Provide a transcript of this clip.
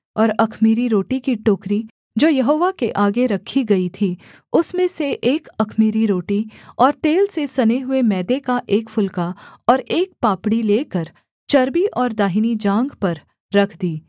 और अख़मीरी रोटी की टोकरी जो यहोवा के आगे रखी गई थी उसमें से एक अख़मीरी रोटी और तेल से सने हुए मैदे का एक फुलका और एक पापड़ी लेकर चर्बी और दाहिनी जाँघ पर रख दी